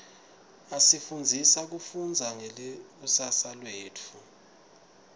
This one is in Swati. asifundzisa kufundza ngelikusasa letfu